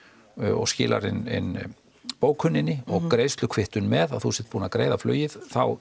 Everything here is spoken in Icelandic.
og skilar inn bókunni og greiðslukvittun með að þú sért búinn að greiða flugið þá